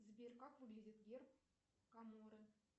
сбер как выглядит герб каморы